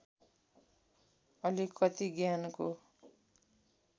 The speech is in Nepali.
अलिकति ज्ञानको